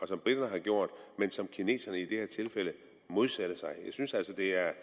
som briterne har gjort men som kineserne i det her tilfælde modsætter sig jeg synes altså at det er